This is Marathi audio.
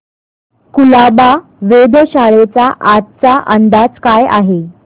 कुलाबा वेधशाळेचा आजचा अंदाज काय आहे